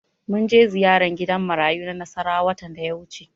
Mun je ziyara gidan marayu na Nasarawa watan da ya wuce.